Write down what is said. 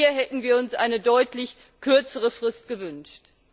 Hier hätten wir uns eine deutlich kürzere Frist gewünscht.